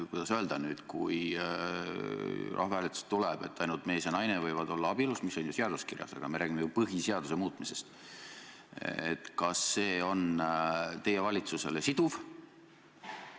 Kui rahvahääletuse tulemus on põhimõte, et ainult mees ja naine võivad olla abielus – see on ju seaduses kirjas, aga me räägime ju põhiseaduse muutmisest –, kas see on teie valitsusele siduv otsus?